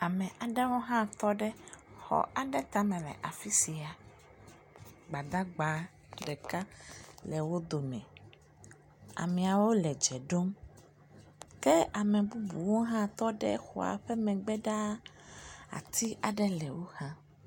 Ame aɖewo hã tɔ ɖe xɔ aɖe tame le afisia. Gbadagba ɖeka le wò dome. Amewo le dze ɖom. Ke ame bubuwo hã tɔ ɖe xɔ ƒe megbe ɖa. Ati aɖe le woxa.